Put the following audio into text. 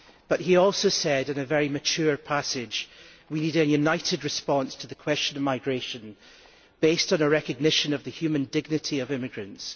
But he also said, in a very mature passage, that we need a united response to the question of migration based on a recognition of the human dignity of immigrants.